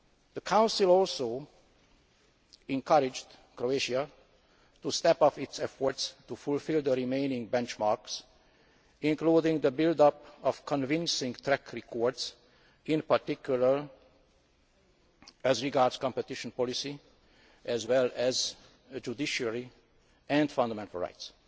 The Council also encouraged Croatia to step up its efforts to fulfil the remaining benchmarks, including the building of convincing track records, in particular as regards competition policy, as well as the judiciary and fundamental rights.